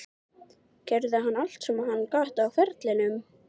Gerði hann allt sem hann gat á ferlinum?